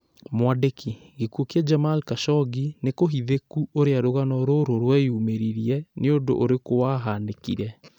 Mwandĩki: Gĩkuo kĩa Jamal Khashoggi nĩkũhithĩku ũrĩa rũgano rũrũ rweyumĩririe, nĩũndũ ũrĩkũ wahanĩkire